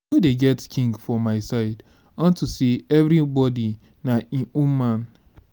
dey get king for my side unto say everybody na im own man